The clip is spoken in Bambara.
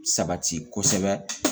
Sabati kosɛbɛ